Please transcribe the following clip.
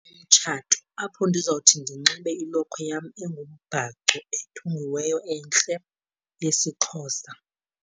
Umtshato apho ndizawuthi ndinxibe ilokhwe yam engumbhaco ethungiweyo entle yesiXhosa.